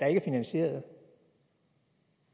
er finansieret